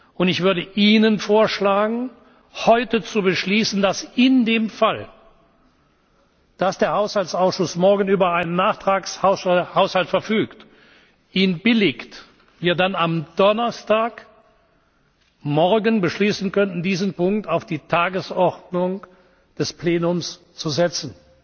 prüfen. Und ich würde Ihnen vorschlagen, heute zu beschließen, dass in dem Fall, dass der Haushaltsausschuss morgen über einen Nachtragshaushalt verfügt und ihn billigt, wir dann am Donnerstagmorgen beschließen könnten, diesen Punkt auf die Tagesordnung des Plenums zu